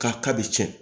K'a ka bi cɛn